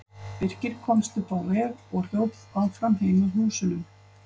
Birkir komst upp á veg og hljóp áfram heim að húsunum.